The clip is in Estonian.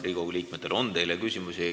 Riigikogu liikmetel on teile küsimusi.